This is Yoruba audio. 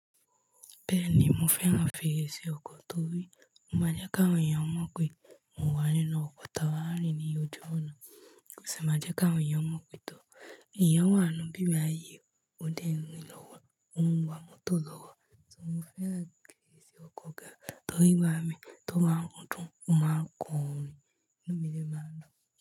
Bẹ́ẹ̀ni, mo fẹ́ ran fèrèsé ọkọ̀ torí ó máa jẹ́ káwọn èèyàn mọ̀ pé mò ń wà nínú ọkọ̀ tá ba n rin ní ojú ọ̀nà. Ò sì máa jẹ́ káwọn èèyàn mọ̀ pé tó èèyàn wà ínú ibí bá yìí o, ó dẹ́ ń rìn lọ́wọ́, ó ń wa mọ́tò lọ́wọ́. So mo fẹ́ ran fèrèsé ọkọ̀ gan torí igbá mi tó bá ń gun motó, ó máa kọ orin inú mi dẹ maa n dun.